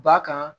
Ba kan